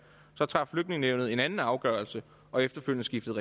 så traf flygtningenævnet en anden afgørelse og efterfølgende skiftede